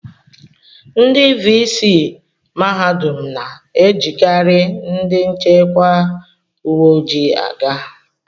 Ndị vii sii mahadum na-ejikarị ndị nchekwa uwe ojii aga